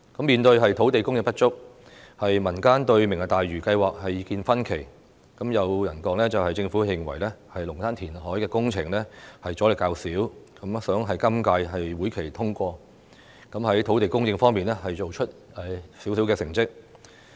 面對土地供應不足，民間對"明日大嶼"計劃的意見分歧，有人說政府認為龍鼓灘的填海工程阻力較少，故希望在今屆會期通過，以便在土地供應方面，做出少許成績。